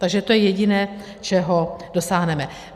Takže to je jediné, čeho dosáhneme.